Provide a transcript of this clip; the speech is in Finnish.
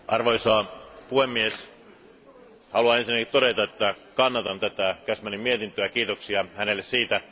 Arvoisa puhemies, haluan ensinnäkin todeta, että kannatan tätä Cashmanin mietintöä, kiitoksia hänelle siitä.